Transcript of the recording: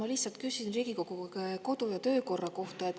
Ma lihtsalt küsin Riigikogu kodu‑ ja töökorra kohta.